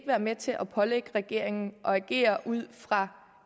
være med til at pålægge regeringen at agere ud fra